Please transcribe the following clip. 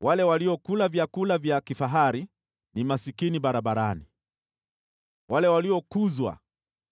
Wale waliokula vyakula vya kifahari ni maskini barabarani. Wale waliokuzwa